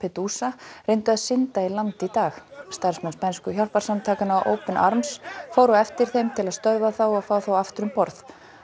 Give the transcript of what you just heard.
Lampedusa reyndu að synda í land í dag starfsmenn spænsku hjálparsamtakanna open arms fóru á eftir þeim til að stöðva þá og fá þá aftur um borð